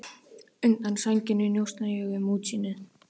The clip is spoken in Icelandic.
Undan sænginni njósna ég um útsýnið.